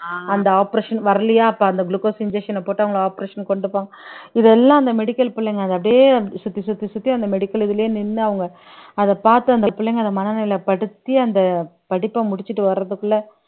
அந்த operation வரலையா அப்ப அந்த glucose injection அ போட்டு அவங்க operation கொண்டு போங்க இதெல்லாம் அந்த medical புள்ளைங்க அத அப்படியே சுத்தி சுத்தி சுத்தி அந்த medical இதுலயே நின்னு அவங்க அத பார்த்து அந்த பிள்ளைங்க அத மனநிலைப்படுத்தி அந்த படிப்பை முடிச்சிட்டு வரதுக்குள்ள